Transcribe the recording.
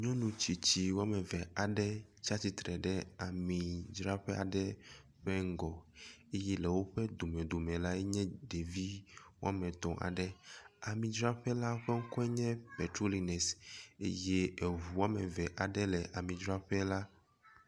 Nyɔnu tsitsi womeve aɖe tsia tsitre ɖe ami dzraƒe aɖe ƒe ŋgɔɔ ye le woƒe domedome lae nye ɖevi wɔmetɔ̃ aɖe, ami dzraƒe la ƒe ŋkɔe nye petroliness eye eŋu womeve aɖe le ami dzraƒe la